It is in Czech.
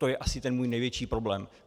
To je asi ten můj největší problém.